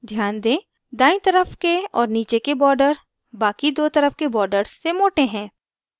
ध्यान दें दायीं तरफ के और नीचे के border बाकि दो तरफ के border से मोटे हैं